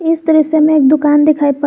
इस तस्वीर मैं एक दुकान दिखाई पड़--